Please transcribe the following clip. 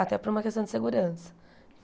Até por uma questão de segurança.